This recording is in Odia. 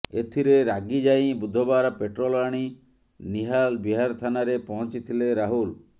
ଏଥିରେ ରାଗି ଯାଇ ବୁଧବାର ପେଟ୍ରୋଲ ଆଣି ନିହାଲ ବିହାର ଥାନାରେ ପହଞ୍ଚିଥିଲେ ରାହୁଲ